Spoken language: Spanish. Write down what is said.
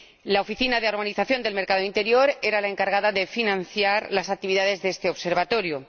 La Oficina de Armonización del Mercado Interior era la encargada de financiar las actividades de este Observatorio.